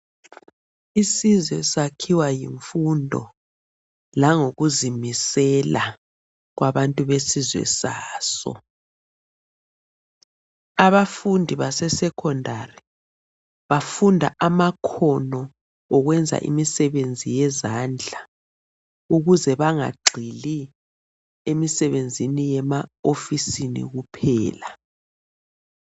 Isizwe sakhiwa yimfundo langokuzimisela kwabantu besizwe saso . Abafundi base secondary bafunda amakhono okwenza emisebenzi yezandla ukuze bangagxili emsebenzini yema ofisini kuphela .